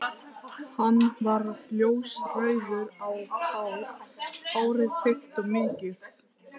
Hann var ljósrauður á hár, hárið þykkt og mikið.